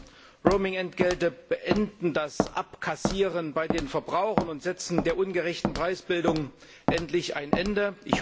Die neuen Roaming Entgelte beenden das Abkassieren bei den Verbrauchern und setzen der ungerechten Preisbildung endlich ein Ende.